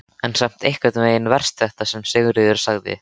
En samt einhvern veginn verst þetta sem Sigríður sagði.